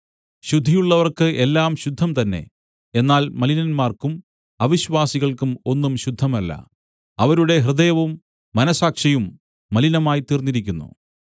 ശുദ്ധിയുള്ളവർക്കു് എല്ലാം ശുദ്ധം തന്നെ എന്നാൽ മലിനന്മാർക്കും അവിശ്വാസികൾക്കും ഒന്നും ശുദ്ധമല്ല അവരുടെ ഹൃദയവും മനസ്സാക്ഷിയും മലിനമായിത്തീർന്നിരിക്കുന്നു